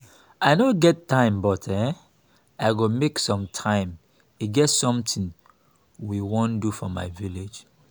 i no dey get time but um i go make some time e get something we wan do for village